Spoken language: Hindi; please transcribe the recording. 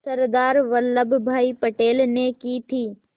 सरदार वल्लभ भाई पटेल ने की थी